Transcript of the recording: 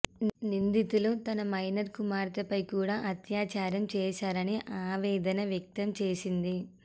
నిందితులు తన మైనర్ కుమార్తెపై కూడా అత్యాచారం చేశారని ఆవేదన వ్యక్తం చేసింది